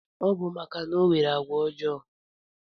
Ọbu maka na onwere agwa ojo